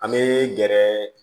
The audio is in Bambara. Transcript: An bɛ gɛrɛ